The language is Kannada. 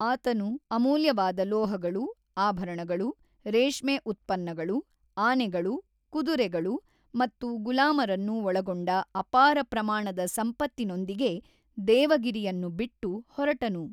ಆತನು ಅಮೂಲ್ಯವಾದ ಲೋಹಗಳು, ಆಭರಣಗಳು, ರೇಷ್ಮೆ ಉತ್ಪನ್ನಗಳು, ಆನೆಗಳು, ಕುದುರೆಗಳು ಮತ್ತು ಗುಲಾಮರನ್ನು ಒಳಗೊಂಡ ಅಪಾರ ಪ್ರಮಾಣದ ಸಂಪತ್ತಿನೊಂದಿಗೆ ದೇವಗಿರಿಯನ್ನು ಬಿಟ್ಟು ಹೊರಟನು.